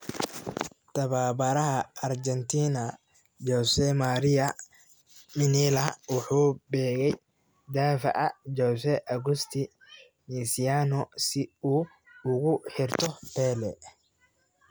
Tababaraha Argentina, Jose Maria Minella, wuxuu beegay daafaca Jose Agusti Mesiano si uu ugu xirto Pele.